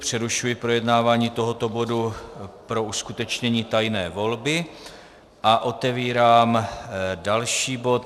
Přerušuji projednávání tohoto bodu pro uskutečnění tajné volby a otevírám další bod.